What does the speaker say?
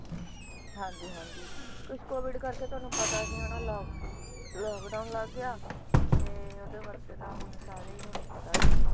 ਹਾਂਜੀ ਹਾਂਜੀ ਕੁਛ COVID ਕਰਕੇ ਤੁਹਾਨੂੰ ਪਤਾ ਸੀ ਹਨਾ ਲਾਕ~ lockdown ਲੱਗ ਗਿਆ ਤੇ ਓਹਦੇ ਵਕਤ ਤਾਂ ਹੁਣ ਸਾਰੇ ਹੀ ਤੁਹਾਨੂੰ ਪਤਾ ਆ